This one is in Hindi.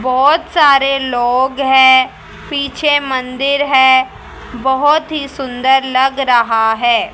बहोत सारे लोग हैं पीछे मंदिर है बहोत ही सुंदर लग रहा है।